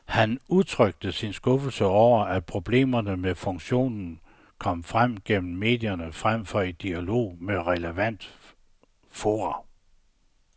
Han udtrykte sin skuffelse over, at problemerne med funktionen kom frem gennem medierne frem for i dialog med relevante fora.